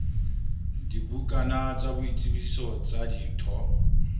dibukana tsa boitsebiso tsa ditho